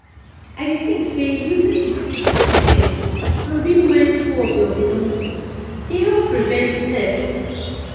i dey think say using security systems and being mindful of your belongings dey help prevent theft